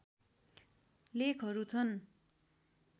लेखहरू छन्